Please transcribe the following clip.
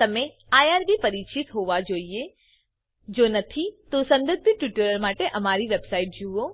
તમે આઇઆરબી પરિચિત હોવા જોઇએ Iજો નથી તો સંબંધિત ટ્યુટોરિયલ્સ માટે અમારી વેબસાઇટ જુઓ